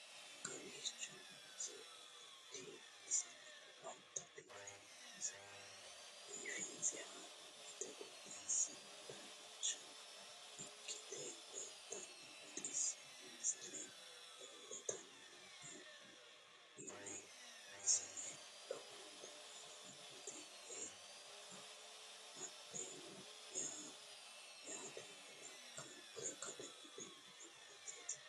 kowicho nooti aliidi misile lowonta biifinse haa'noonniti qooxeessano dancha ikkite la'annohano baxissanno misile leeltanni nooe ini misile lowonta biifffinnote yee hedeemmo yaate lekkate wodhinanni koatteeti